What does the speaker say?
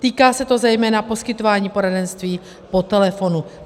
Týká se to zejména poskytování poradenství po telefonu.